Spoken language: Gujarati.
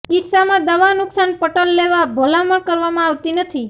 કિસ્સામાં દવા નુકસાન પટલ લેવા ભલામણ કરવામાં આવતી નથી